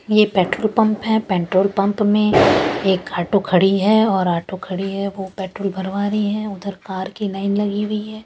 ये petrol pump हैं petrol pump में एक ऑटो खड़ी हैं और ऑटो खड़ी हैं वो पेट्रोल भरवा रही हैं उधर कार की लाइन लगी हुई हैं ।